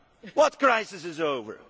What crisis is over?